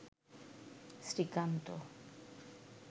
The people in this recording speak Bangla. শ্রীকান্ত